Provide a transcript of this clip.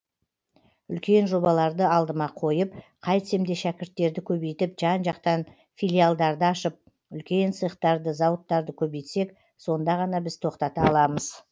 үлкен жобаларды алдыма қойып қайтсем де шәкірттерді көбейтіп жан жақтан филиалдарды ашып үлкен цехтарды зауыттарды көбейтсек сонда ғана біз тоқтата аламыз